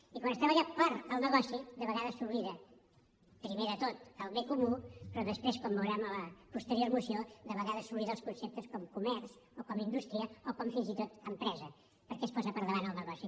i quan es treballa pel negoci de vegades s’oblida primer de tot el bé comú però després com veurem a la posterior moció de vegades s’obliden els conceptes com comerç o com indústria o com fins i tot empresa perquè es posa per davant el negoci